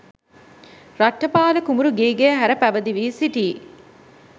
රට්ඨපාල කුමරු ගිහිගෙය හැර පැවිදි වී සිටියි.